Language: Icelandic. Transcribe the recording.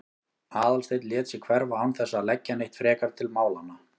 Aðalsteinn lét sig hverfa án þess að leggja neitt frekar til málanna.